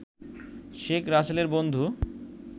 শেখ রাসেলের বন্ধু